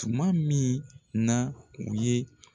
Tuma min na u ye